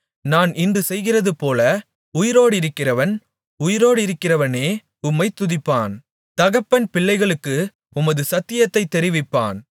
நான் இன்று செய்கிறதுபோல உயிரோடிருக்கிறவன் உயிரோடிருக்கிறவனே உம்மைத் துதிப்பான் தகப்பன் பிள்ளைகளுக்கு உமது சத்தியத்தைத் தெரிவிப்பான்